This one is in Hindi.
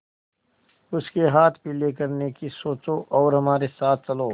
उसके हाथ पीले करने की सोचो और हमारे साथ चलो